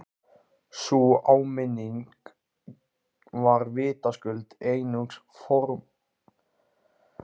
Sú áminning var vitaskuld einungis formsatriði!